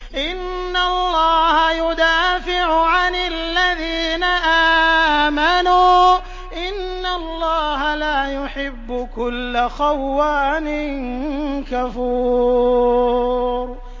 ۞ إِنَّ اللَّهَ يُدَافِعُ عَنِ الَّذِينَ آمَنُوا ۗ إِنَّ اللَّهَ لَا يُحِبُّ كُلَّ خَوَّانٍ كَفُورٍ